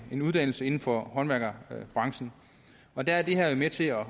en uddannelse inden for håndværkerbranchen og der er det her med til at